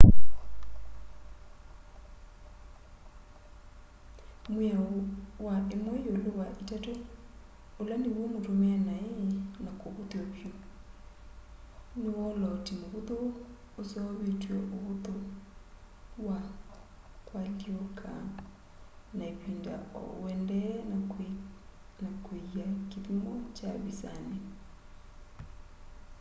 mwiao wa imwe iulu wa itatu ula niw'o mutumie nai na kuvuthw'a vyu ni wolooti muvuthu useuvitye uvuthu wa kualyuuka na ivinda o uendee na kwiia kithimo kya visani